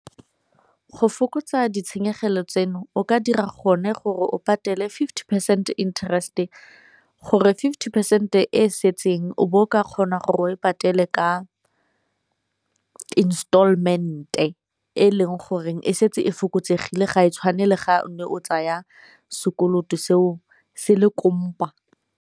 Go fokotsa ditshenyegelo tseno o ka dira gone gore o patele fifty percent interest-e, gore fifty percent e setseng o bo o ka kgona gore o e patele ya installment-e e leng goreng e setse e fokotsegile ga e tshwane le ga o ne o tsaya sekoloto seo se le kompa.